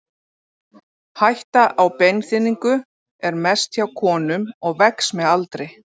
Hætta á beinþynningu er mest hjá konum og vex með aldri.